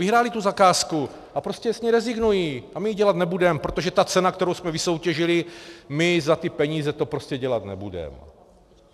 Vyhrály tu zakázku a prostě s ní rezignují, a my ji dělat nebudem, protože ta cena, kterou jsme vysoutěžili, my za ty peníze to prostě dělat nebudem...